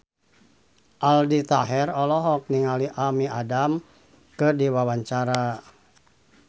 Aldi Taher olohok ningali Amy Adams keur diwawancara